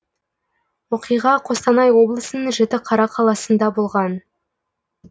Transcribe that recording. оқиға қостанай облысының жітіқара қаласында болған